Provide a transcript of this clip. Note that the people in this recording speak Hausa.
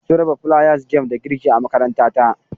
Sun raba flayas game da girki a makarantata.